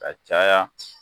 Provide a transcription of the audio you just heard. Ka caya